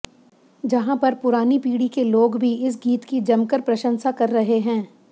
जहां पर पुरानी पीढ़ी के लोग भी इस गीत की जमकर प्रशंसा कर रहे हैं